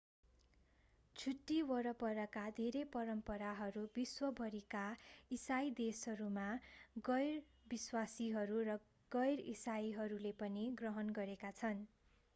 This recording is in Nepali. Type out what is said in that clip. छुट्टी वरपरका धेरै परम्पराहरू विश्वभरिका इसाई देशहरूमा गैर-विश्वासीहरू र गैर-इसाईहरूले पनि ग्रहण गरेका छन्